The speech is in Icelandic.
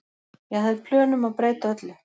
Ég hafði plön um að breyta öllu.